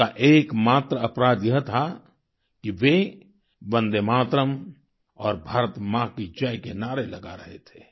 उनका एकमात्र अपराध यह था कि वे वंदे मातरम और भारत माँ की जय के नारे लगा रहे थे